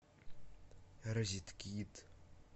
розеткед